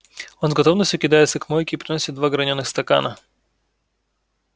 он с готовностью кидается к мойке и приносит два гранёных стакана